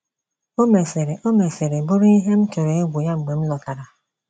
O mesịrị O mesịrị bụrụ ihe m tụrụ egwu ya mgbe m lọtara.